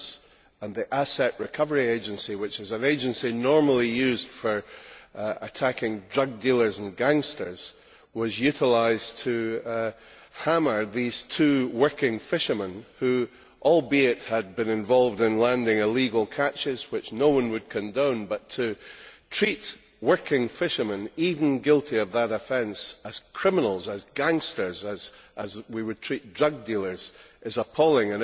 and that the Assets Recovery Agency, which is an agency normally used for measures against drug dealers and gangsters, was utilised to hammer these two working fishermen, who, admittedly, were involved in landing illegal catches, which no one would condone but to treat working fishermen, even guilty of that offence, as criminals, as gangsters, in the same way as we would treat drug dealers, is appalling.